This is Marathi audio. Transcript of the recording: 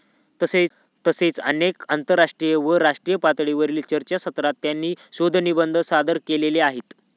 तसेच अनेक आंतरराष्ट्रीय व राष्ट्रीय पातळीवरील चर्चासत्रात त्यांनी शोधनिबंध सादर केलेले आहेत.